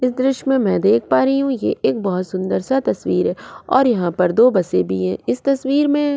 इस दृश्य में मैं देख पा रही हूं ये एक बहुत सुंदर सा तस्वीर है और यहां पर दो बसें भी हैं इस तस्वीर में --